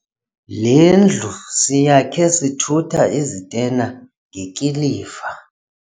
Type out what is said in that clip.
Le ndlu siyakhe sithutha izitena ngekiliva.